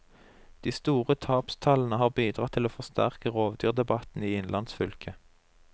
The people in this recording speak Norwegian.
De store tapstallene har bidratt til å forsterke rovdyrdebatten i innlandsfylket.